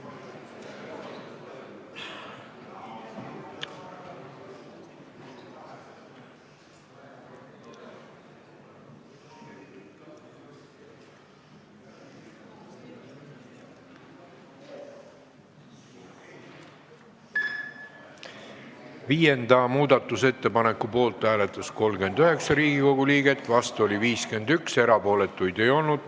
Hääletustulemused Viienda muudatusettepaneku poolt hääletas 39 ja vastu oli 51 Riigikogu liiget, erapooletuid ei olnud.